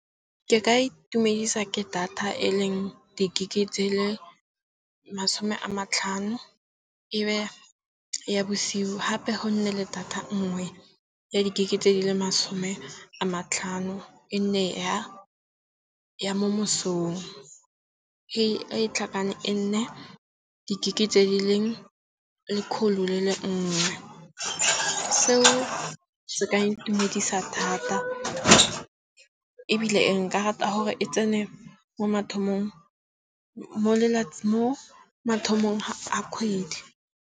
Ke ka itumedisa ke data e leng di-gig tse leng masome a matlhano. E be ya bosiu gape go nne le data nngwe ya di-gig tse di le masome a matlhano. E nne ya mo mosong. E tlhakane e nne di-gig tse di leng lekgolo le nngwe. Seo se ka intumedisa thata, ebile e nka rata gore e tsene mo mathong mo mo mathomong a kgwedi.